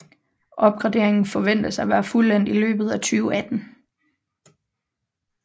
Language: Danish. Opgraderingen forventes at være fuldendt i løbet af 2018